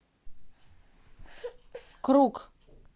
круг